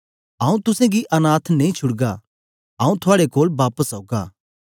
आऊँ तुसेंगी अनाथ नेई छुड़गा आऊँ थुआड़े कोल बापस औगा